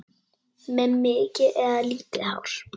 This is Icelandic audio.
Með mikið eða lítið hár?